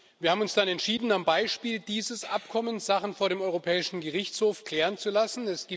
Wir haben uns dann entschieden, am Beispiel dieses Abkommens Sachen vor dem Europäischen Gerichtshof klären zu lassen.